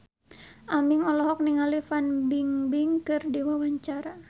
Aming olohok ningali Fan Bingbing keur diwawancara